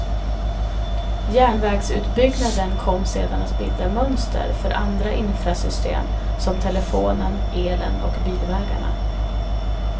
Järnvägsutbyggnaden kom sedan att bilda mönster för andra infrasystem som telefonen, elen och bilvägarna.